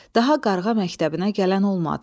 Daha qarğa məktəbinə gələn olmadı.